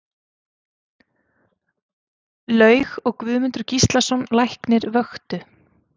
Laug og Guðmundur Gíslason læknir vöktu